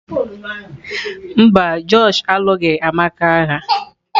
Mba, Josh alụghị Amaka agha